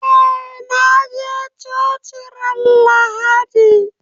Eh na je coci ran lahadi